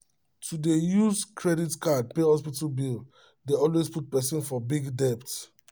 to dey use credit card pay hospital bill dey always put person for big debt